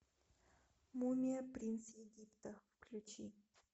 мумия принц египта включи